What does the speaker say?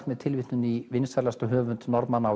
mér tilvitnun í vinsælasta höfund Norðmanna á